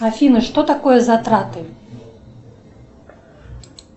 афина что такое затраты